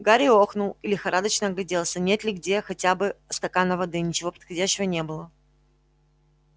гарри охнул и лихорадочно огляделся нет ли где хотя бы стакана воды ничего подходящего не было